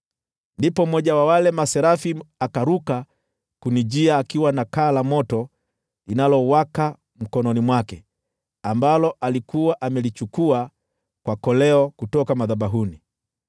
Ndipo mmoja wa wale maserafi akaruka kunijia akiwa na kaa la moto linalowaka mkononi mwake, ambalo alikuwa amelichukua kwa koleo kutoka madhabahuni.